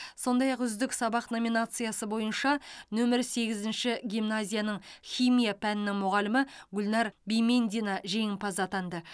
сондай ақ үздік сабақ номинациясы бойынша нөмірі сегізінші гимназияның химия пәнінің мұғалімі гүлнәр бимендина жеңімпаз атанды